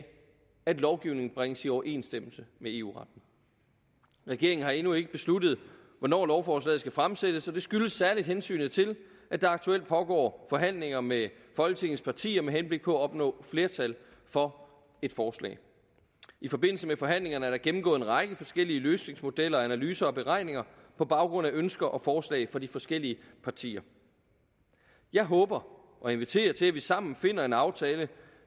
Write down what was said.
at lovgivningen bringes i overensstemmelse med eu retten regeringen har endnu ikke besluttet hvornår lovforslaget skal fremsættes og det skyldes særlig hensynet til at der aktuelt pågår forhandlinger med folketingets partier med henblik på at opnå flertal for et forslag i forbindelse med forhandlingerne er der gennemgået en række forskellige løsningsmodeller analyser og beregninger på baggrund af ønsker og forslag fra de forskellige partier jeg håber og inviterer til at vi sammen finder en aftale